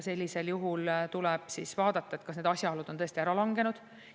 Sellisel juhul tuleb vaadata, kas need asjaolud on tõesti ära langenud.